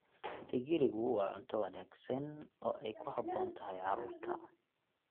Digirigu waa cunto wanaagsan oo ay ku habboon tahay carruurta.